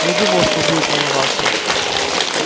не думал что будет волноваться